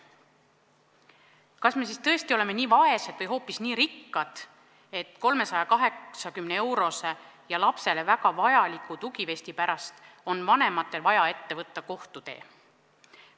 Kas me siis tõesti oleme nii vaesed või hoopis nii rikkad, et 380-eurose ja lapsele väga vajaliku tugivesti pärast on vanematel vaja ette võtta kohtutee?